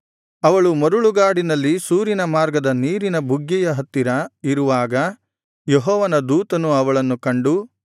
ಅವಳು ಮರಳುಗಾಡಿನಲ್ಲಿ ಶೂರಿನ ಮಾರ್ಗದ ನೀರಿನ ಬುಗ್ಗೆಯ ಹತ್ತಿರ ಇರುವಾಗ ಯೆಹೋವನ ದೂತನು ಅವಳನ್ನು ಕಂಡು